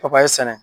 Papaye sɛnɛ